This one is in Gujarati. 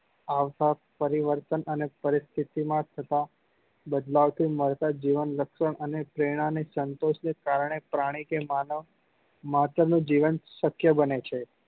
આસપાસ પરિવર્તન અને પરિસ્થિતિ માં થતા બદલાવ થી મળતર જીવન લક્ષ્ય અને પ્રેરણા ને સંતોષ ને કારણે પ્રાણી કે માનવ નું જીવન શક્ય બને છે